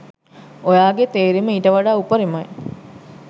ඔයාගේ තේරීම ඊට වඩා උපරිමයි.